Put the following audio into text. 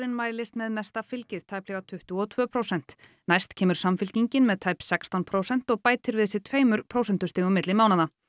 mælist með mesta fylgi tæplega tuttugu og tvö prósent næst kemur Samfylkingin með tæp sextán prósent og bætir við sig tveimur prósentustigum milli mánaða